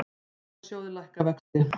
Sparisjóðirnir lækka vexti